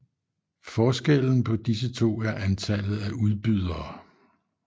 Forskellen på disse to er antallet af udbydere